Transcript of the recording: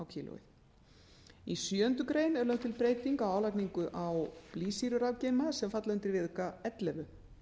sjöundu grein er lögð til breyting á álagningu á blýsýrurafgeyma sem falla undir viðauka ellefu